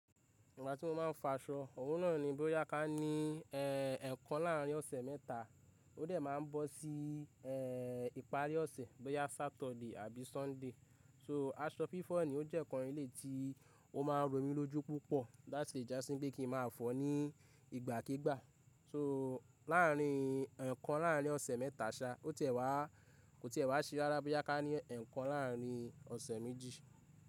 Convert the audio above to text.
Ìgbà tí mo máa ń fa aṣọ, òwúrọ̀ náà ni bóyá ká ní, e, ẹ̀kan láàrin ọ̀sẹ̀ mẹ́ta, ó dẹ̀ máa bọ́ sí, e, ìparí ọ̀sẹ̀, bóyá Saturday àbí Sunday. So aṣọ fifọ ni ó jẹ́ ǹkan ilé tí ó máa ń rọ mi lójú púpọ̀ láti ìjà sí pé kí n máa fọ̀ ọ́ ní ìgbàkígbà. So láàrin, ẹ̀kan láàrin ọ̀sẹ̀ mẹ́ta ṣa, ò tí è wá, kò tí è wá ṣe rárá bóyá ká ní ẹ̀kan láàrin ọ̀sẹ̀ méjì.